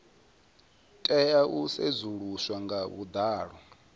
tea u sedzuluswa nga vhuḓalo